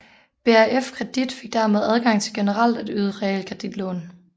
BRFkredit fik dermed adgang til generelt at yde realkreditlån